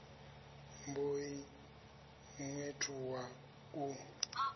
mb o ḓi ṅwethuwa u